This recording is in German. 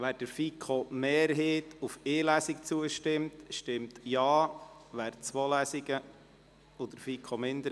Wer dem Antrag der FiKo-Mehrheit auf eine Lesung zustimmt, stimmt Ja, wer dem Antrag der FiKo-Minderheit auf zwei Lesungen zustimmt, stimmt Nein.